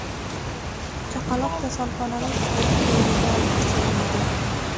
Chaqaloq kasalxonaning tug‘ruq bo‘limiga olib kelinadi.